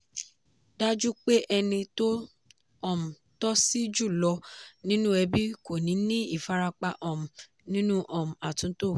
dájú pé ẹni tó um tòṣì jùlọ nínú ẹbí kò ní ní ìfarapa um nínú um àtúntò.